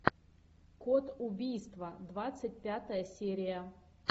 код убийства двадцать пятая серия